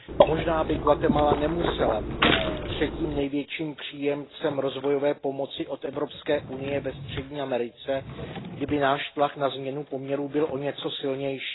Možná by Guatemala nemusela být třetím největším příjemcem rozvojové pomoci od Evropské unie ve střední Americe, kdyby náš tlak na změnu poměrů byl o něco silnější.